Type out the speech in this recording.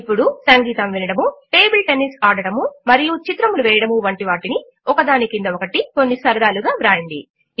ఇప్పుడు సంగీతము వినడము టేబుల్ టెన్నిస్ ఆడడము మరియు చిత్రములు వేయడము వంటి వాటిని ఒకదాని క్రింద ఒకటి కొన్ని సరదాలుగా వ్రాయండి